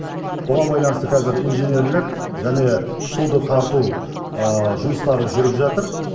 бұған байланысты қазір инженерлік және суды тарту жұмыстары жүріп жатыр